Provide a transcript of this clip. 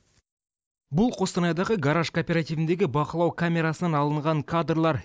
бұл қостанайдағы гараж кооперативіндегі бақылау камерасынан алынған кадрлар